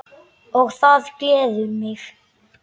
Og það gleður mig!